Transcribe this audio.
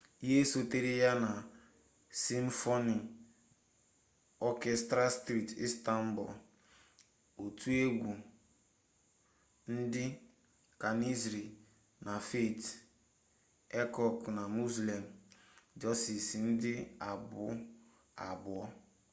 ihe sotere ya bụ simfoni ọkestra steeti istanbul otu egwu ndị janisrị na fatih erkoç na müslüm gürses ndị abụ abụọ